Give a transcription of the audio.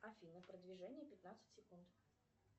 афина продвижение пятнадцать секунд